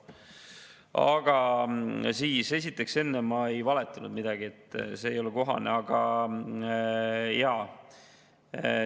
Aga esiteks, enne ma ei valetanud midagi, see ei ole kohane.